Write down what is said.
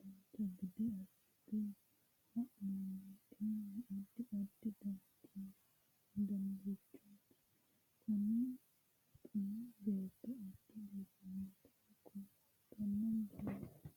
dancha gede assine haa'noonniti addi addi danirichooti kunino xuma beetto adda biiffannota kultanno misileeti